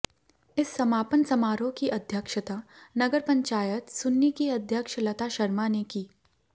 इस समापन समारोह की अध्यक्षता नगर पंचायत सुन्नी की अध्यक्ष लता शर्मा ने की